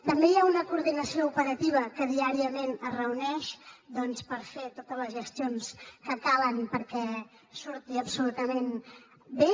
també hi ha una coordinació operativa que diàriament es reuneix doncs per fer totes les gestions que calen perquè surti absolutament bé